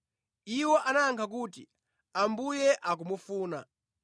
Iwo anayankha kuti, “Ambuye akumufuna.”